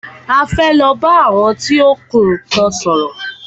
A fẹ́ lọ bá àwọn tí ó ń kun nnkan sòrò.